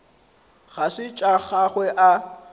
ga se tša gagwe a